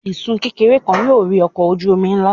Isun kekere kan yóò rì ọkọ oju omi nla.